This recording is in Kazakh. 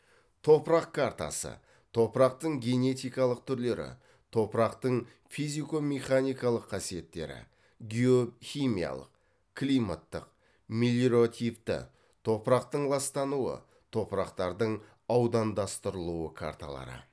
топырақ картасы топырақтың генетикалық түрлері топырақтың физико механикалық қасиеттері геохимиялық климаттық мелиративті топырақтың ластануы топырақтардың аудандастырылуы карталары